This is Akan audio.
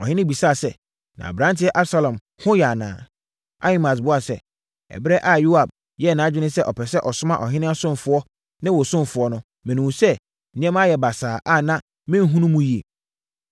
Ɔhene bisaa sɛ, “Na aberanteɛ, Absalom ho yɛ anaa?” Ahimaas buaa sɛ, “Ɛberɛ a Yoab yɛɛ nʼadwene sɛ ɔpɛ sɛ ɔsoma ɔhene ɔsomfoɔ ne me wo ɔsomfoɔ no, mehunuu sɛ nneɛma ayɛ basaa a na menhunu mu yie.”